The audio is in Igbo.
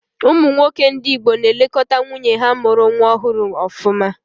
Ụmụ nwoke ndị Igbo na-elekọta nwunye ha mụrụ nwa ọhụrụ ọfụma.